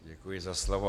Děkuji za slovo.